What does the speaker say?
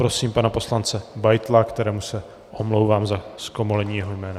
Prosím pana poslance Beitla , kterému se omlouvám za zkomolení jeho jména.